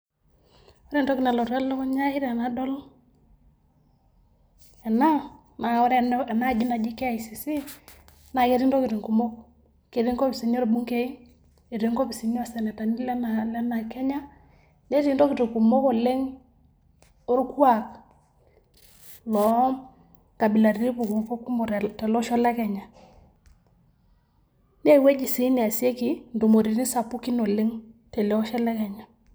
Ore entoki nalotu elukunya ai tenadol ena naa ore ena aji naji KICC naa ketii ntokitin kumok keti nkopisini orbunkei, eti nkopisini o senetani lena lena Kenya, netii ntokitin kumok oleng' orkuak lo nkabilaritin puku kumok tele osho le Kenya. Nee ewueji sii neasieki ntumoretin sapukin oleng' tele osho le Kenya.